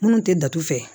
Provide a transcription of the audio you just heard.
Minnu tɛ datugu